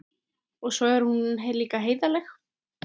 Og svo er hún líka heiðarleg.